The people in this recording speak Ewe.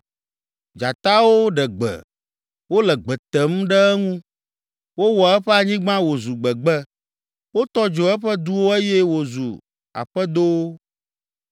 Dzatawo ɖe gbe, wole gbe tem ɖe eŋu. Wowɔ eƒe anyigba wòzu gbegbe. Wotɔ dzo eƒe duwo eye wozu aƒedowo.